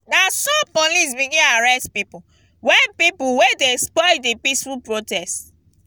na so police begin arrest pipu wey pipu wey dey spoil di peaceful protest.